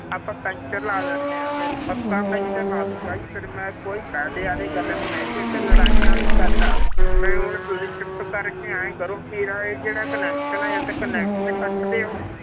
ਆਪਾਂ ਪੈਂਚਰ ਲਾ ਦਿੰਦੇ ਹਾਂ ਫਿਰ ਪੱਕਾ ਪੈਂਚਰ ਲਾ ਦਊਂ ਭਾਈ ਜੀ ਫਿਰ ਮੈਂ ਕੋਈ ਫ਼ਾਇਦੇ ਵਾਲੀ ਗੱਲ ਨੀ ਹੈਗੀ, ਇਹ ਤੇ ਲੜਾਈਆਂ ਵਾਲੀ ਗੱਲ ਆ, ਫਿਰ ਹੁਣ ਤੁਸੀਂ ਚੁੱਪ ਕਰਕੇ ਇਉਂ ਕਰੋ ਵੀ ਇਹ ਜਿਹੜਾ connection ਹੈ ਜਾਂ ਤਾਂ connection ਕੱਟ ਦਿਓ,